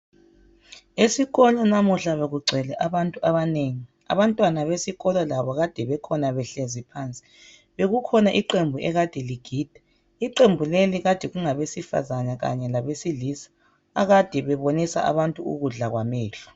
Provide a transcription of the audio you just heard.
Esikolo namuhla bekugcwele abantu abanengi. Abantwana besikolo labo kade bejhona behlezi phansi . Bekukhona iqembu ekade ligida . Iqembu leli kade kungabantu abesifazana kanye labesilisa , akade bebonisa abantu ukudla kwamehlo.